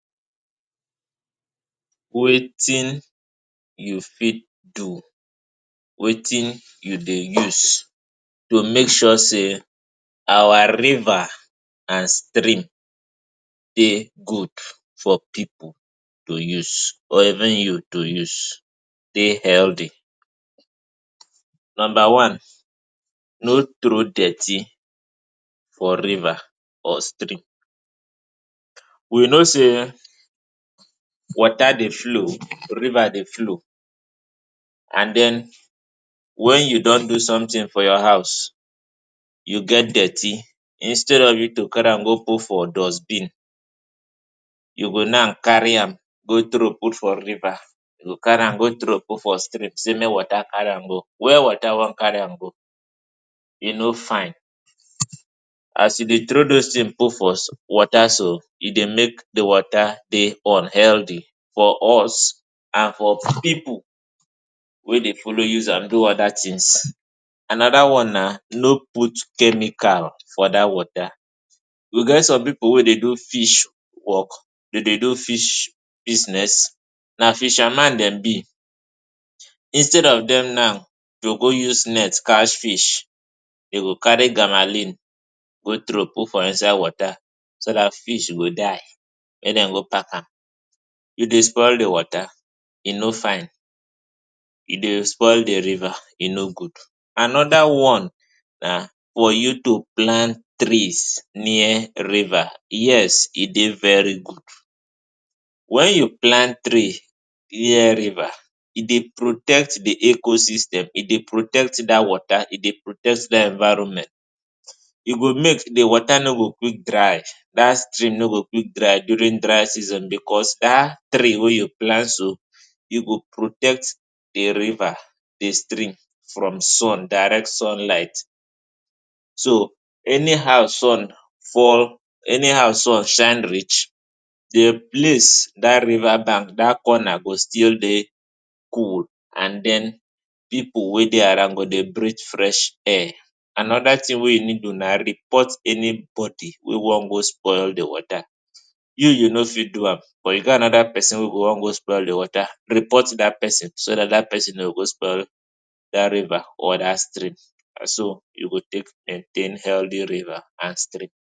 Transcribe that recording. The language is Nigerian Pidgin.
Wetin you fit do? Wetin you dey use to make sure sey our river and stream dey good for pipu to use or even you to use dey healthy? Number one, no trow dirty for river or stream. We know sey water dey flow, river dey flow and den, when you don do sometin for your house, you get dirty, instead of you to carry am go put for dustbin, you go na carry am go trow put for river, you go carry am go trow put for stream sey mey water carry am go. Where water wan carry am go? E no fine, as you dey trow dose tin put for water so, e dey make di water dey unhealthy for us and for pipu wey dey follow use am do oda tins. Anoda one na, no put chemical for dat water. We get some pipu wey dey do fish work, dey dey do fish business, na fisherman dem be, instead of dem now to go use net catch fish, dey go carry guanacline go trow put inside water, so dat fish go die mey den go pack am. You dey spoil di water, e no fine. E dey spoil di river, e no good. Anoda one na for you to plant trees near river. Yes, e dey very good. When you plant tree near river, e dey protect di ecosystem, e dey protect dat water, e dey protect dat environment. You go mek di water no go quick dry, dat stream no go quick dry during dry season because dat tree wey you plant so, e go protect di river, di stream from sun, direct sunlight. So, anyhow sun fall, anyhow sun shine reach, di place, dat river bank, dat corner go still dey cool and den pipu wey dey around go breathe fresh air. Anoda tin wey you need do na report anybody wey wan go spoil di water, you you no fit do am but you get anoda person wey wan go spoil di water, report dat person, so dat dat person no go go spoil dat river or dat stream. Na so you go tek maintain healthy river and stream.